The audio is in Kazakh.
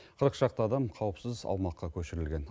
қырық шақты адам қауіпсіз аумаққа көшірілген